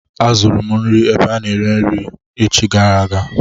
Azụrụ m nri ebe a na-ere nri echi gara aga.